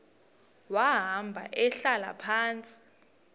wahamba ehlala phantsi